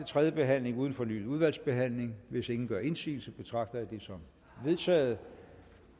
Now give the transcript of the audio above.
tredje behandling uden fornyet udvalgsbehandling hvis ingen gør indsigelse betragter jeg det som vedtaget